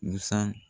Busan